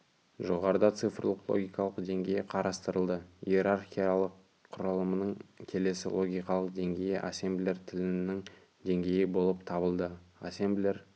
жоғарыда цифрлы логикалық деңгейі қарастырылды иерархиялық құрылымның келесі логикалық деңгейі ассемблер тілінің деңгейі болып табылды ассемблер